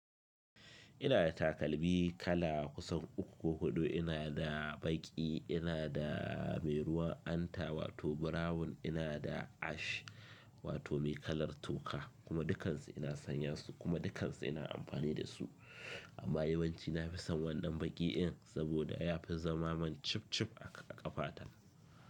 Ina da takalmi kala kusan uku ko huɗu, ina da baƙi, ina da mai ruwan hanta wato brown, ina da ash wato mai kalar tuka kuma dukansu ina sanya su kuma dukansu ina amfani da su. Amma yawanci na fi son waɗannan baƙi in saboda ya fi zama man chip chip a ƙafa ta.